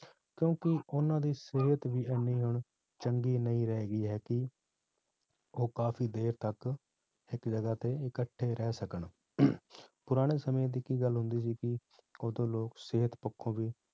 ਕਿਉਂਕਿ ਉਹਨਾਂ ਦੀ ਸਿਹਤ ਵੀ ਇੰਨੀ ਹੁਣ ਚੰਗੀ ਨਹੀਂ ਰਹਿ ਗਈ ਹੈ ਕਿ ਉਹ ਕਾਫ਼ੀ ਦੇਰ ਤੱਕ ਇੱਕ ਜਗ੍ਹਾ ਤੇ ਇਕੱਠੇ ਰਹਿ ਸਕਣ ਪੁਰਾਣੇ ਸਮੇਂ ਦੀ ਕੀ ਗੱਲ ਹੁੰਦੀ ਸੀ ਕਿ ਉਦੋਂ ਲੋਕ ਸਿਹਤ ਪੱਖੋਂ ਵੀ